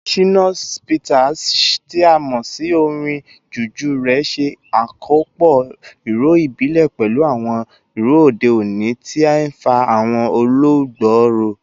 Shina Peters, tí a mọ̀ sí orin Juju rẹ̀, ṣe àkópọ̀ ìró ìbílẹ̀ pẹ̀lú àwọn ìró òde òní, tí ń fa àwọn olùgbọ́ ró.